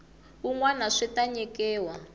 wun wana swi ta nyikiwa